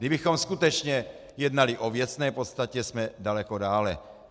Kdybychom skutečně jednali o věcné podstatě, jsme daleko dále.